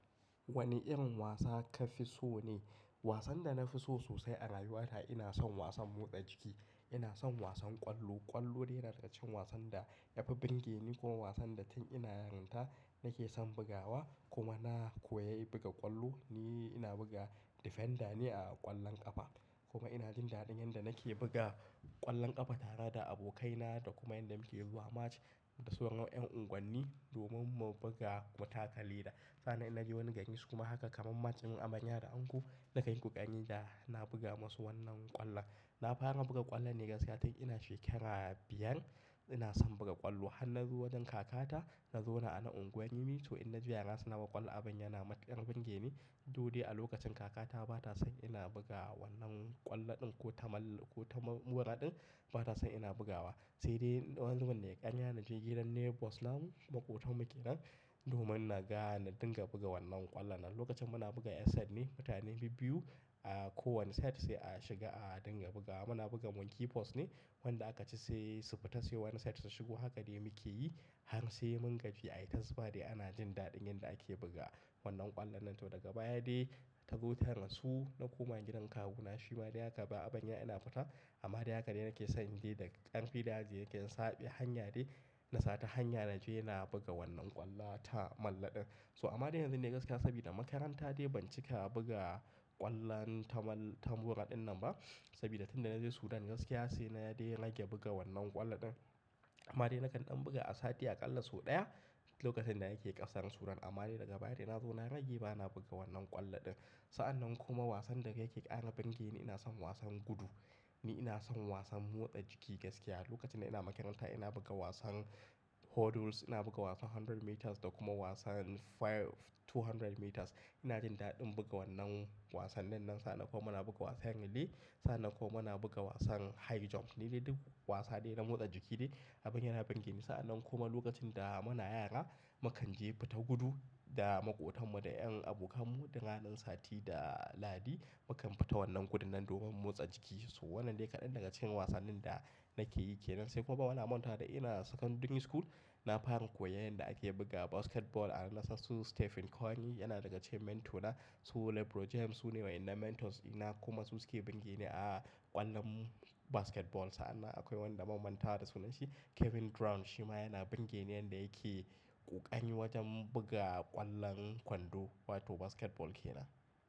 Wane irin wasa kafi so ne? Wasan danafi so sosai a rayuwa ta ina son wasan motsa jiki. Ina son wasan ƙwallo. Ƙwallo dai na daga cikin wasan da yafi bingeni kuma wasan da tun ina yarinta nake son bugawa kuma na koyi buga ƙwallo. Ni ina buga defender ne a ƙwallon ƙafa kuma inajin daɗin yanda nake buga ƙwallon ƙafa tare da abokaina da kuma yanda muke zuwa match da sauran yan unguwanni domin mu buga mu taka leɗa. Sannan inje wani gari su kuma haka kamar match din amaya da anko nakanyi ƙoƙari dana buga masu wannan ƙwallon. Na fara buga ƙwallon ne gaskiya tun ina shekara biyar. Ina son buga ƙwallo. Han nazo wajen kakata na zauna ana unguwar rimi so inaji yara suna buga ƙwallon abun yana matuƙar burgeni. Doɗe a lokacin kakata batasan ina buga wannan ƙwallon ɗin ko tamulla kota mura ɗin ba ta san ina bugawa. Saidai wani zubin nayi ƙarya naje gidan neighbors namu, maƙotanmu kenan domin na ga na dinga buga wannan ƙwallon nan. Lokacin muna buga yar set ne, mutane biyu, kowane set sai a shiga a dinga bugawa. Muna buga monkey post ne wanda aka ci saisu fita sai wani set su shigo. Haka dai muke yi har sai mun gaji ayita zufa dai ana jin daɗin yanda ake buga wannan ƙwallon nan. To daga baya dai tazo ta rasu na koma gidan kawuna. Shima dai haka ba'a barina ina fita amma dai haka dai nake son dai da karfi da yaji nakan sabe hanya dai na sata hanya naje na buga wannan ƙwallata malla ɗin. To amma dai yanzu ne gaskiya saboda makaranta dai ban cika buga ƙwallon tamalla ta mura ɗin nan ba saboda tunda naje Sudan gaskiya sai na dai rage buga wannan ƙwallon ɗin. Amma dai nakan ɗan buga a sati aƙalla sau ɗaya lokacin da nake ƙarsan Sudan amma dai daga baya dai nazo na rage bana buga wannan ƙwallon ɗin. Sa'an nan kuma wasan da yake ƙara birgeni ina son wasan gudu. Ni ina son wasan motsa jiki gaskiya. Lokacin da ina makaranta ina buga wasan hurdles, ina buga wasan hundred-meters da kuma wasan five two hundred meters. Ina jin daɗin buga wannan wasannin nan. Sa'an nan kuma muna buga wasan rilli. Sa'an nan kuma muna buga wasan high jump nidai duk wasa dai na motsa jiki dai abun yana burgeni. Sa'an nan kuma lokacin da muna yara mukanje fita gudu da maƙotanmu da 'yan abokanmu duk ranan sati da lahadi mukan fita wannan gudun nan domin in motsa jiki. So wannan dai kaɗan daga cikin wasannin da nake yi kenan. Sai kuma bana manta da ina secondary school na fara koyar yanda ake buga basketball a nan. Sasu Stephen Curry yana daga cikin mentor na su LeBron James su ne waɗanda mentors dina. Kuma su suke bingeni a ƙwallon basketball. Sa'an nan akwai wanda ban manta da sunan shi Kevin Durant shima yana birgeni yanda yake ƙoƙari wajen buga ƙwallon kwando wato basketball kenan.